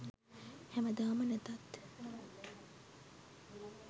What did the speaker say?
හැමදාම නැතත්